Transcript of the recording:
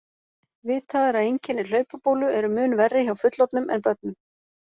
Vitað er að einkenni hlaupabólu eru mun verri hjá fullorðnum en börnum.